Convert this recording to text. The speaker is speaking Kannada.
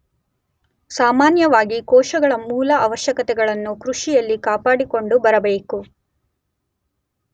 ಸಾಮಾನ್ಯವಾಗಿ ಕೋಶಗಳ ಮೂಲ ಅವಶ್ಯಕತೆಗಳನ್ನು ಕೃಷಿಯಲ್ಲಿ ಕಾಪಾಡಿಕೊಂಡು ಬರಬೇಕು.